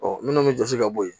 Ɔ minnu bɛ jɔsi ka bɔ yen